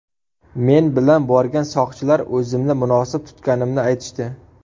Men bilan borgan soqchilar o‘zimni munosib tutganimni aytishdi.